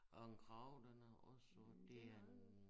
Og en krage den er også sort det er en